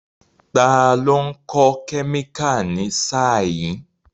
Ta ló ń kọ́ kẹ́míkà ní sáà yìí?